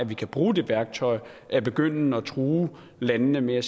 vi kan bruge det værktøj at begynde at true landene med at